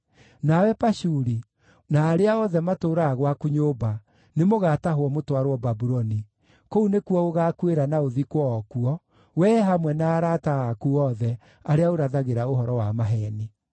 Nawe Pashuri, na arĩa othe matũũraga gwaku nyũmba, nĩ mũgaatahwo mũtwarwo Babuloni. Kũu nĩkuo ũgaakuĩra na ũthikwo o kuo, wee hamwe na arata aku othe arĩa ũrathagĩra ũhoro wa maheeni.’ ”